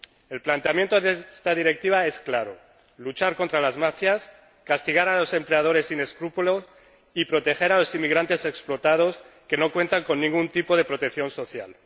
El planteamiento de esta directiva es claro luchar contra las mafias, castigar a los empleadores sin escrúpulos y proteger a los inmigrantes explotados que no cuentan con ningún tipo de protección social.